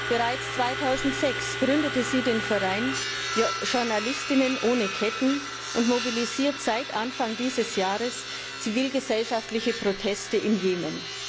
Bereits 2006 gründete sie den Verein Journalistinnen ohne Ketten und mobilisiert seit Anfang dieses Jahres zivilgesellschaftliche Proteste im Jemen.